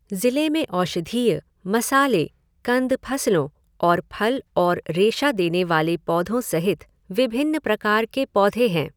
ज़िले में औषधीय, मसाले, कंद फसलों और फल और रेशा देने वाले पौधों सहित विभिन्न प्रकार के पौधे हैं।